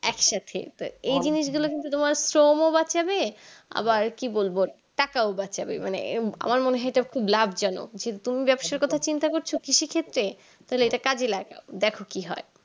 একসাথে তো এই জিনিস গুলো কিন্তু তোমার শ্রমও বাঁচাবে আবার কি বলবো টাকাও বাঁচাবে মানে এ আমার মনে হয় ইটা খুব লাব জনক যে তুমি ব্যাবসার কথা চিন্তা করছো কৃষি ক্ষেত্রে তাহলে ইটা কাজে লাগাই দেখো কি হয়